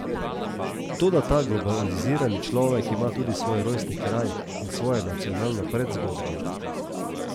Toda ta globalizirani človek ima tudi svoj rojstni kraj in svojo nacionalno predzgodbo.